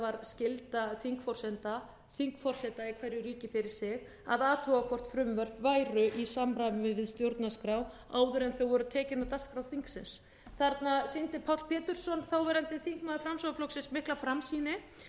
skylda þingforseta í hverju ríki fyrir sig að athuga hvort frumvörp væru í samræmi við stjórnarskrá áður en þau voru tekin á dagskrá þingsins þarna sýndi páll pétursson þáverandi þingmaður framsóknarflokksins mikla framsýni